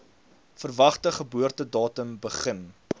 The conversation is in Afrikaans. verwagte geboortedatum begin